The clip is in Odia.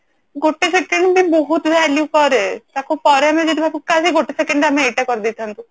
ଗୋଟେ second ବି ବହୁତ value କରେ ତାକୁ ପରେ ଆମେ ଯଦି ଭାବୁ କାସ ଏଇ ଗୋଟେ second ରେ ଆମେ ଏଇଟା କରିଦେଇଥାନ୍ତେ